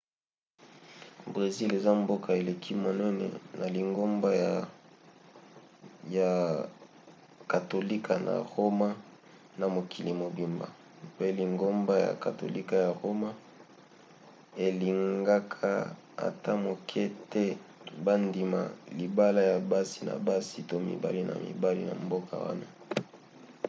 brésil eza mboka eleki monene ya lingomba ya katolika na roma na mokili mobimba mpe lingomba ya katolika ya roma elingaka ata moke te bandima libala ya basi na basi to mibali na mibali na mboka wana